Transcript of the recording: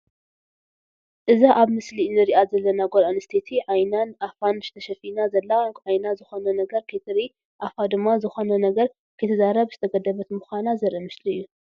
እዛ ኣብ ምስሊ እንሪኣ ዘለና ጓል ኣንስተይቲ ዓይናን ኣፋን ተሸፊና ዘላ ዓይና ዝኮነ ነገር ከይትርኢ ኣፋ ድማ ዝኾነ ነገር ከይትዛረብ ዝተገደብት ምዃና ዘርኢ ምስሊ እዩ።